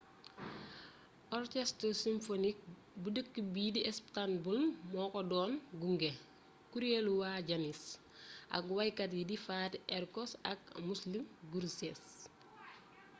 orchestre symphonique bu dëkk bii di istanbul moo ko doon gunge kuréelu waa janis ak waykat yi di fatih erkoç ak müslüm gürses